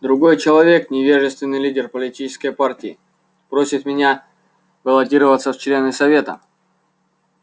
другой человек невежественный лидер политической партии просит меня баллотироваться в члены совета